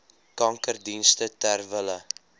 kankerdienste ter wille